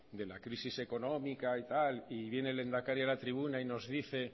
de la crisis económica y tal y viene el lehendakari a la tribuna y nos dice